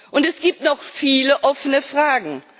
Und es gibt noch viele offene Fragen.